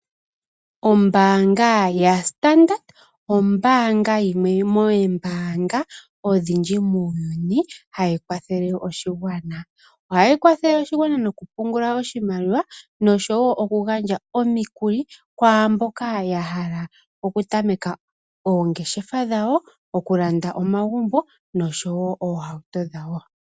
Ombaanga yaStandard ombaanga yimwe yomoombaanga odhindji muuyuni hayi kwatheke oshigwana ohayi kwathele oshigwana yokupungula oshimaliwa noshowo okugandja omikuli kwaamboka ya hala okutameka oongeshefa dhawo okulanda omagumbo noshowo oohauto dhawo.